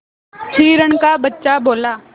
हिरण का बच्चा बोला